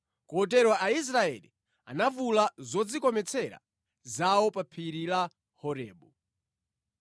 Kotero Aisraeli anavula zodzikometsera zawo pa phiri la Horebu.